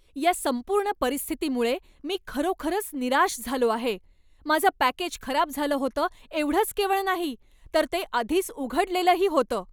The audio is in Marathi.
या संपूर्ण परिस्थितीमुळे मी खरोखरच निराश झालो आहे. माझं पॅकेज खराब झालं होतं एवढंच केवळ नाही, तर ते आधीच उघडलेलंही होतं!